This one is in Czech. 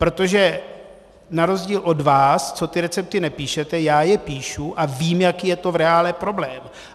Protože na rozdíl od vás, co ty recepty nepíšete, já je píšu a vím, jaký je tom v reálu problém.